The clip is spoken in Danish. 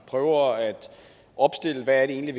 prøver at opstille hvad det egentlig